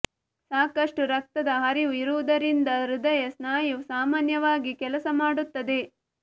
ಸಾಕಷ್ಟು ರಕ್ತದ ಹರಿವು ಇರುವುದರಿಂದ ಹೃದಯ ಸ್ನಾಯು ಸಾಮಾನ್ಯವಾಗಿ ಕೆಲಸ ಮಾಡುತ್ತದೆ